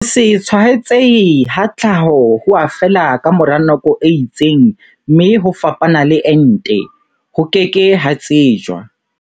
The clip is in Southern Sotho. Ho se tshwaetsehe ha tlhaho ho a fela ka mora nako e itseng mme ho fapana le ente, ho ke ke ha tsejwa.